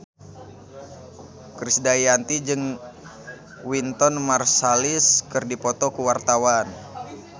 Krisdayanti jeung Wynton Marsalis keur dipoto ku wartawan